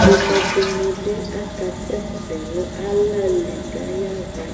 Pomɛ dɩnɩ bɩ akasɛsɛ nʋ ala li kʋ ayaɣa